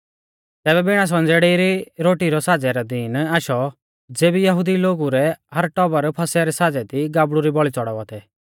तैबै बिणा संज़ेड़ै री रोटी रै साज़ै रौ दीन आशौ ज़ेबी यहुदी लोगु रै हर टबर फसह रै साज़ै दी गाबड़ु री बौल़ी च़ड़ावा थै